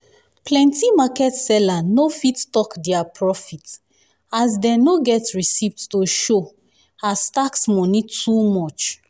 plenti market seller no fit talk dia profit as dey no get receipt to show as tax money too much.